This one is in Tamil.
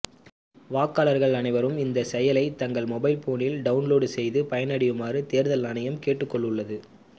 வாக்காளர்கள் அனைவரும் இந்த செயலியை தங்கள் மொபைல்போனில் டவுன்லோடு செய்து பயனடையுமாறு தேர்தல் ஆணையம் கேட்டுக்கொண்டுள்ளது